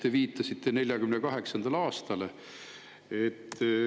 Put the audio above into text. Te viitasite 1948. aastale.